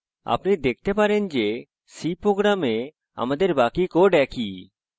আপনি দেখতে পারেন যে c program আমাদের বাকি code একই